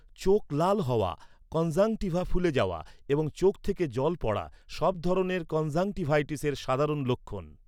চোখ লাল হওয়া, কনজাংক্টিভা ফুলে যাওয়া এবং চোখ থেকে জল পড়া সব ধরনের কনজাংক্টিভাইটিসের সাধারণ লক্ষণ।